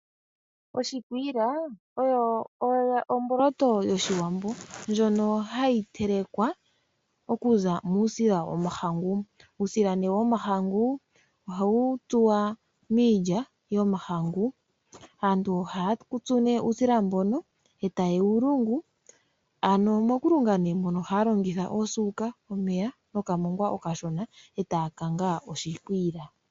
Oshikwiila oyo oshimaliwa yOshiwambo ndjono hayi telekwa okuza muusila womahangu. Uusila womahangu ohawu tsuwa miilya yomahangu. Aantu ohaya tsu uusila mbono e taye wu lungu, mokulunga mono ohaya longitha osuuka, omeya nokamongwa okashona e taya kanga oshikwiila.